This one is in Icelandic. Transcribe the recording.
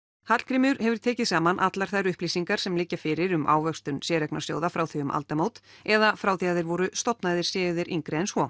Hallgrímur hefur tekið saman allar þær upplýsingar sem liggja fyrir um ávöxtun séreignarsjóða frá því um aldamót eða frá því að þeir voru stofnaðir séu þeir yngri en svo